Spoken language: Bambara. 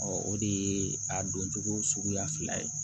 o de ye a doncogo suguya fila ye